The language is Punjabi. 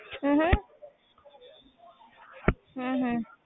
ਹਮ ਹਮ ਹਮ ਹਮ